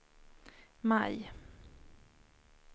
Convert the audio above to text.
maj